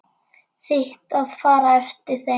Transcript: Þitt að fara eftir þeim.